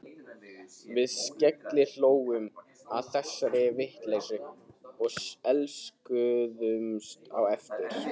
Við skellihlógum að þessari vitleysu og elskuðumst á eftir.